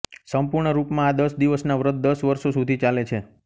સંપૂર્ણ રૂપમાં આ દસ દિવસના વ્રત દસ વર્ષો સુધી ચાલે છે